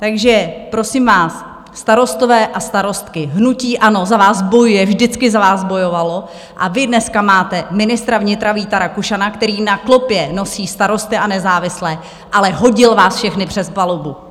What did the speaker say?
Takže prosím vás, starostové a starostky, hnutí ANO za vás bojuje, vždycky za vás bojovalo, a vy dneska máte ministra vnitra Víta Rakušana, který na klopě nosí Starosty a nezávislé, ale hodil vás všechny přes palubu.